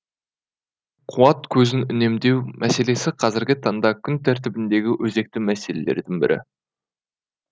демек қуат көзін үнемдеу мәселесі қазіргі таңда күн тәртібіндегі өзекті мәселелердің бірі